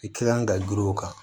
I ka kan ka giri o kan